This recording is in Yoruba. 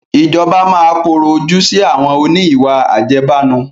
Ìjọba máa korò ojú sì àwọn òní ìwà àjẹbánu